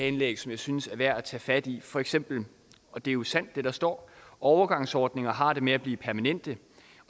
indlæg som jeg synes er værd at tage fat i for eksempel og det er jo sandt hvad der står overgangsordninger har det med at blive permanente